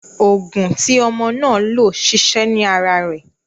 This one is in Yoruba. Oògùn n tí ọmọ náà lò ṣiṣẹ́ ní ara rẹ̀.